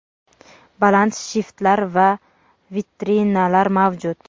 baland shiftlar va vitrinalar mavjud.